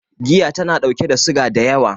Giya tana ɗauke da suga da yawa